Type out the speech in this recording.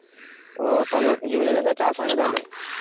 ও তাহলে জমিটাতে চাষ হয় না তাহলে?